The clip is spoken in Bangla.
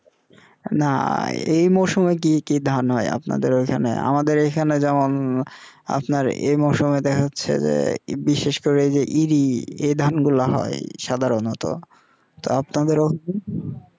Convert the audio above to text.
না এই মৌসুমে কি কি ধান হয় আপনাদের ওখানে আমাদের এখানে যেমন আপনার এই মৌসুমে দেখাচ্ছে যে বিশেষ করে এরি ধান গুলা হয় সাধারণত আপনাদেরও